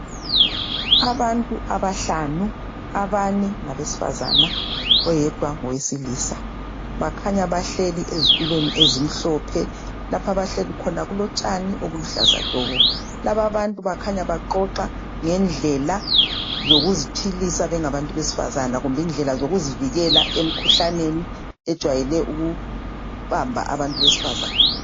Abantu abahlanu. Abane ngabesifazana oyedwa ngowesilisa. Bakhanya bahleli ezitulweni ezimhlophe. Lapha abahleli khona kulotshani obuluhlaza tshoko. Lababantu bakhanya baxoxa ngendlela zokuziphilisa bengabantu besifazana kumbe indlela zokuzivikela emkhuhlaneni ejwayele ukuhamba abantu besifazana.